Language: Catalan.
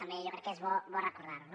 també jo crec que és bo recordar ho